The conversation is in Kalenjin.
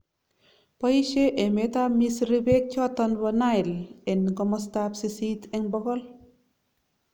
Boisien emet ab Misri beek choton bo Nile en komasta ab sisit en bokol